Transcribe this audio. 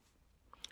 TV 2